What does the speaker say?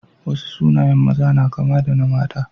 Wasu sunayen maza na kama da na mata.